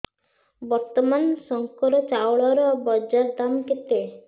ବର୍ତ୍ତମାନ ଶଙ୍କର ଚାଉଳର ବଜାର ଦାମ୍ କେତେ